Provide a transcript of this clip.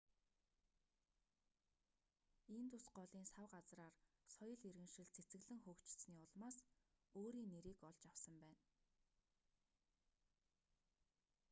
индус голын сав газраар соёл иргэншил цэцэглэн хөгжсөний улмаас өөрийн нэрийг олж авсан байна